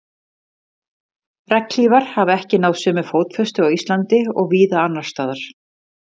regnhlífar hafa ekki náð sömu fótfestu á íslandi og víða annars staðar